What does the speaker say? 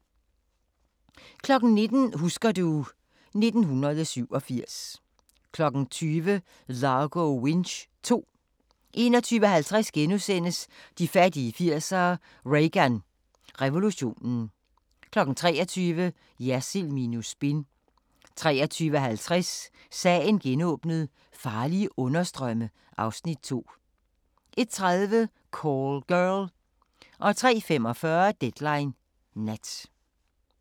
19:00: Husker du ... 1987 20:00: Largo Winch II 21:50: De fattige 80'ere: Reagan revolutionen * 23:00: Jersild minus spin 23:50: Sagen genåbnet: Farlige understrømme (Afs. 2) 01:30: Call Girl 03:45: Deadline Nat